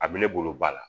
A bɛ ne bolo ba la